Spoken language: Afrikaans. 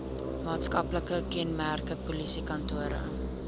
maatskaplike kenmerke polisiekantore